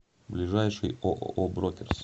ближайший ооо брокерс